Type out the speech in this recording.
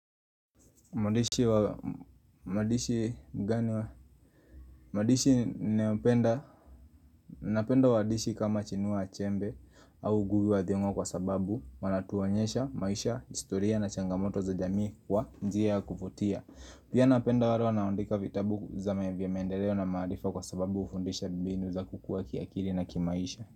Mwandishi ninayependa Napenda wadishi kama chinua achembe au ngugi wathionwa kwa sababu Manatuonyesha maisha, historia na changamoto za jamii kwa njia ya kuvutia Pia napenda walewa wanaondika vitabu vya mendeleo na maarifa kwa sababu ufundisha mbinu za kukua kiakiri na kimaisha.